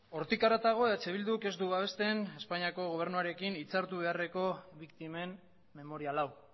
hortik haratago eh bilduk ez du babesten espainiako gobernuarekin hitzartu beharreko biktimen memorial hau